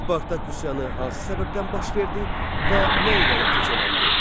Spartak üsyanı hansı səbəbdən baş verdi və nə ilə nəticələndi?